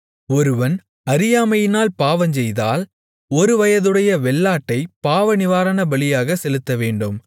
ஒருவன் அறியாமையினால் பாவஞ்செய்தால் ஒருவயதுடைய வெள்ளாட்டைப் பாவநிவாரணபலியாகச் செலுத்தவேண்டும்